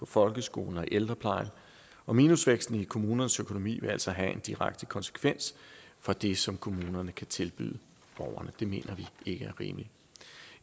folkeskolen og i ældreplejen minusvæksten i kommunernes økonomi vil altså have en direkte konsekvens for det som kommunerne kan tilbyde borgerne det mener vi ikke er rimeligt